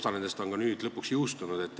Osa nendest on nüüd lõpuks jõustunud.